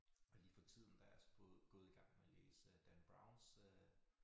Og lige for tiden der jeg så gået gået i gang med at læse Dan Browns øh